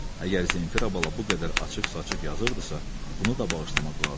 Əgər Zenfira bala bu qədər açıq-saçıq yazırdısa, bunu da bağışlamaq lazımdır.